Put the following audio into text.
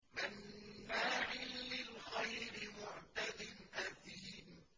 مَّنَّاعٍ لِّلْخَيْرِ مُعْتَدٍ أَثِيمٍ